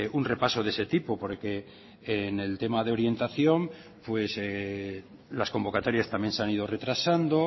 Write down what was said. un repaso de ese tipo porque en el tema de orientación pues las convocatorias también se han ido retrasando